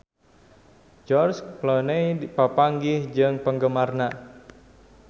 George Clooney papanggih jeung penggemarna